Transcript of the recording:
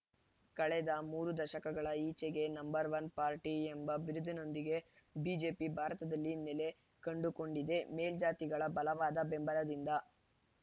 ಕಳೆದ ಮೂರು ದಶಕಗಳ ಈಚೆಗೆ ನಂಬರ್‌ ಒನ್ ಪಾರ್ಟಿ ಎಂಬ ಬಿರುದಿನೊಂದಿಗೆ ಬಿಜೆಪಿ ಭಾರತದಲ್ಲಿ ನೆಲೆ ಕಂಡುಕೊಂಡಿದ್ದೇ ಮೇಲ್ಜಾತಿಗಳ ಬಲವಾದ ಬೆಂಬಲದಿಂದ